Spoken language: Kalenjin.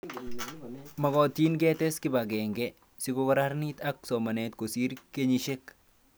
Makatin ketes kipag'eng'e sikokarkeit ak somanet kosir kenyishek